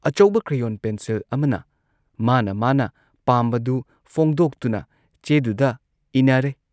ꯑꯆꯧꯕ crayon pencil ꯑꯃꯅ ꯃꯥꯅ ꯃꯥꯅ ꯄꯥꯝꯕꯗꯨ ꯐꯣꯡꯗꯣꯛꯇꯨꯅ ꯆꯦꯗꯨꯗ ꯏꯅꯔꯦ ꯫